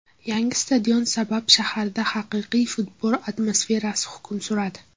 Yangi stadion sabab shaharda haqiqiy futbol atmosferasi hukm suradi.